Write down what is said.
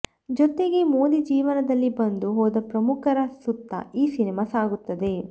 ಜತೆಗೆ ಮೋದಿ ಜೀವನದಲ್ಲಿ ಬಂದು ಹೋದ ಪ್ರಮುಖರ ಸುತ್ತ ಈ ಸಿನಿಮಾ ಸಾಗುತ್ತದೆ